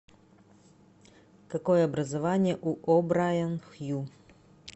какое образование у обрайан хью